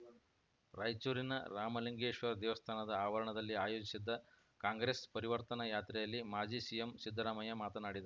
ರಾಯಚೂರಿನ ರಾಮಲಿಂಗೇಶ್ವರ ದೇವಸ್ಥಾನದ ಆವರಣದಲ್ಲಿ ಆಯೋಜಿಸಿದ್ದ ಕಾಂಗ್ರೆಸ್‌ ಪರಿವರ್ತನಾ ಯಾತ್ರೆಯಲ್ಲಿ ಮಾಜಿ ಸಿಎಂ ಸಿದ್ಧರಾಮಯ್ಯ ಮಾತನಾಡಿದ